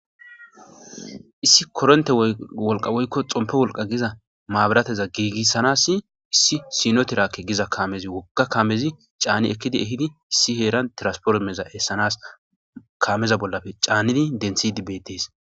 Issi korontette wolqqa woykko xomppe wolqqa giza maabiratezza gigisanasii issi siinno tirakke giza kaamezii woogga kaamezii caanni eekiddi eehidii issi heeran tirasforimereza eessanas kaameza bollappe caannidi denththidii beettes